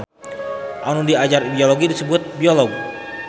Anu diajar biologi disebut biolog.